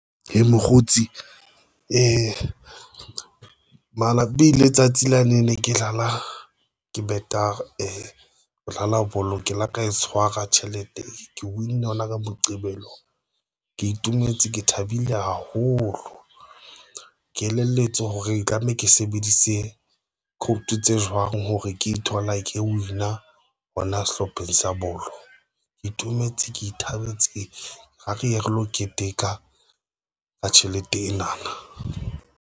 Hee mokgotsi e mala be letsatsi lane ne ke qala ke better, re dlala bolo, ke la ka e tshwara Tjhelete, Ke win yona ka Moqebelo. Nka ke itumetse ke thabile haholo, Ke elelletswe hore tlameha ke sebedise kut tse jwang hore ke ithola Ke win a hona sehlopheng sa bolo, Ke itumetse ke ithabetse ra re ye re lo keteka ka tjhelete ena.